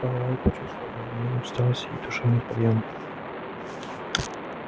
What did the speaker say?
пауэлл почувствовал одновременно усталость и душевный подъем